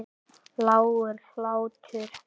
Lágur hlátur.